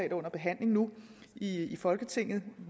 er under behandling nu i i folketinget